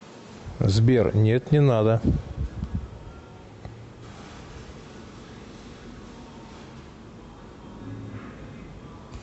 сбер нет не надо